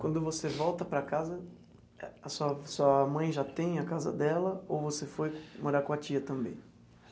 Quando você volta para casa, a sua sua mãe já tem a casa dela ou você foi morar com a tia também?